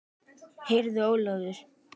Heyrðu Ólafur.